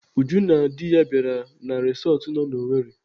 Ujunwa na di ya bịara resọtụ nọ n'Owerri.